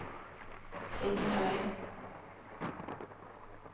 Finnøy